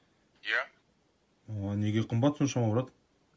иә неге қымбат соншама брат